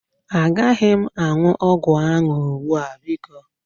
Agaghị m aṅụ ọgwụ ahụ ugbu a biko.